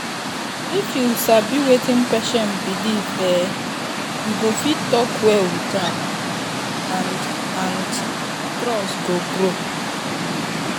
if you sabi wetin patient believe[um]you go fit talk well with am and and trust go grow.